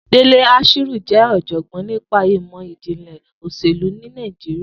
Dele Ashiru jẹ́ ọ̀jọ̀gbọ́n nípa ìmọ̀ ìjìnlẹ̀ òṣèlú ní Nàìjíríà